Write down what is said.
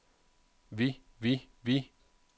vi vi vi